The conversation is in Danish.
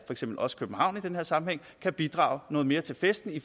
som også københavn i den sammenhæng kan bidrage noget mere til festen i